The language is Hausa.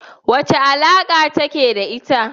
Wace alaka kake da ita?